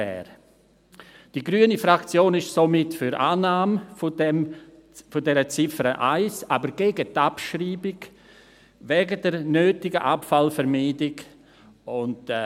– Die grüne Fraktion ist somit für die Annahme dieser Ziffer 1, aber wegen der nötigen Abfallvermeidung gegen die Abschreibung.